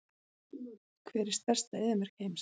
Hver er stærsta eyðimörk heims?